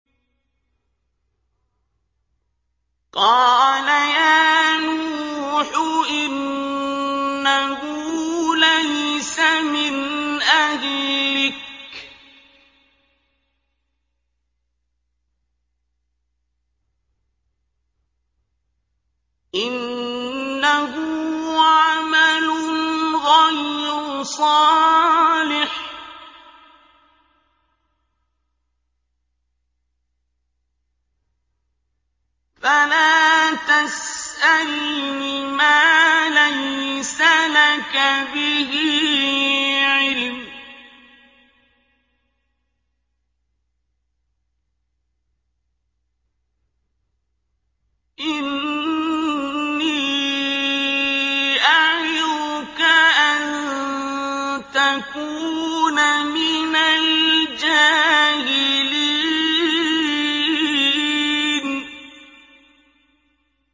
قَالَ يَا نُوحُ إِنَّهُ لَيْسَ مِنْ أَهْلِكَ ۖ إِنَّهُ عَمَلٌ غَيْرُ صَالِحٍ ۖ فَلَا تَسْأَلْنِ مَا لَيْسَ لَكَ بِهِ عِلْمٌ ۖ إِنِّي أَعِظُكَ أَن تَكُونَ مِنَ الْجَاهِلِينَ